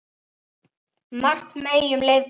Margt megi um leið bæta.